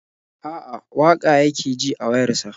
A'a, waƙa yake ji a wayar sa.